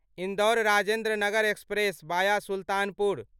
Indore Rajendranagar express via Sultanpur